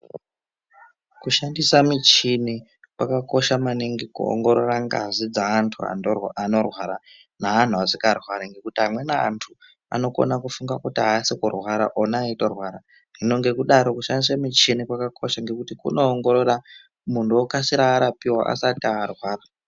Kushandisa michini kwakakosha maningi kuongorora ngazi dzevantu vantu vanorwara ne vantu vasingarwari nekuti anweni vantu vanofunga kuti havasi kurwari ona vechitorwara hino ngekudaro kushandisa michini kwakakosha ngekuti kunoongorora muntu okasira arapiwa asati arwara.